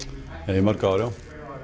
í mörg ár já